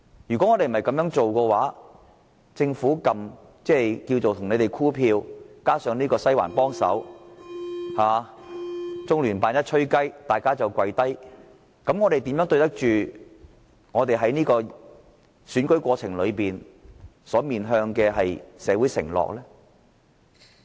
議會若無法做到此事，建制派只靠政府"箍票"，"西環"幫忙，"中聯辦吹雞，大家就跪低"，我們又怎樣對得起在選舉過程中面向社會作出的承諾？